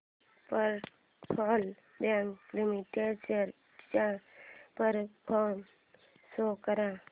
federal bank limited shares चा performance show कर